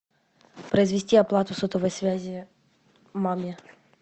произвести оплату сотовой связи маме